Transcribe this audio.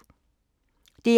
DR1